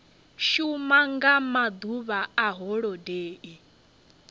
shuma nga maḓuvha a holodeni